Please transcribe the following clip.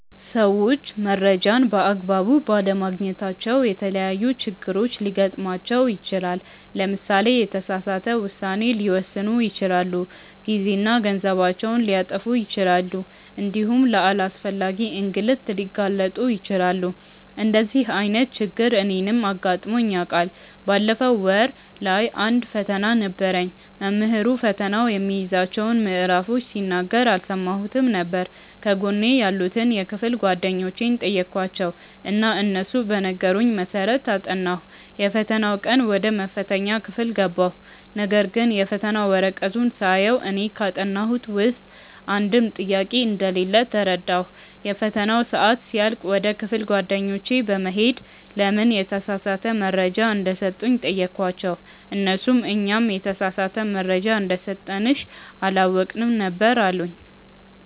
ሰዎች መረጃን በ አግባቡ ባለማግኘታቸው የተለያዪ ችግሮች ሊገጥማቸው ይችላል። ለምሳሌ የተሳሳተ ውሳኔ ሊወስኑ ይችላሉ፣ ጊዜና ገንዘባቸውን ሊያጠፉ ይችላሉ እንዲሁም ለአላስፈላጊ እንግልት ሊጋለጡ ይችላሉ። እንደዚህ አይነት ችግር እኔንም አጋጥሞኝ ያውቃል። ባለፈው ወር ላይ አንድ ፈተና ነበረኝ። መምህሩ ፈተናው የሚይዛቸውን ምዕራፎች ሲናገር አልሰማሁትም ነበር። ከጎኔ ያሉትን የክፍል ጓደኞቼን ጠየኳቸው እና እነሱ በነገሩኝ መሰረት አጠናሁ። የፈተናው ቀን ወደ መፈተኛ ክፍል ገባሁ ነገርግን የፈተና ወረቀቱን ሳየው እኔ ካጠናሁት ውስጥ አንድም ጥያቄ እንደሌለ ተረዳሁ። የፈተናው ሰአት ሲያልቅ ወደ ክፍል ጓደኞቼ በመሄድ ለምን የተሳሳተ መረጃ እንደሰጡኝ ጠየኳቸው እነርሱም "እኛም የተሳሳተ መረጃ እንደሰጠንሽ አላወቅንም ነበር አሉኝ"።